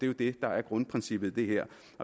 jo det der er grundprincippet i det her